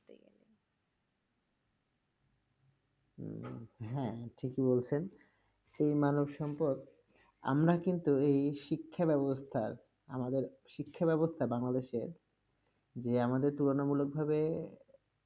উম হ্যাঁ ঠিকই বলেছেন, সেই মানবসম্পদ, আমরা কিন্তু এই শিক্ষাব্যবস্থার, আমাদের শিক্ষাব্যবস্থা বাংলাদেশের যে আমাদের তুলনামূলকভাবে